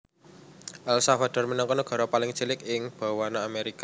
El Salvador minangka nagara paling cilik ing bawana Amerika